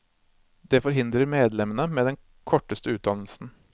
Det forhindrer medlemmene med den korteste utdannelsen.